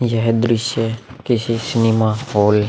यह दृश्य किसी सिनेमा हॉल --